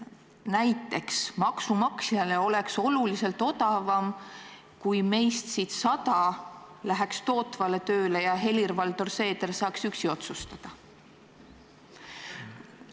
Näiteks, maksumaksjale oleks oluliselt odavam, kui sada meist läheksid tootvale tööle ja Helir-Valdor Seeder saaks üksi otsustada.